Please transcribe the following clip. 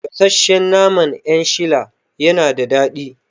Gasashshen naman 'yan shila yana da daɗi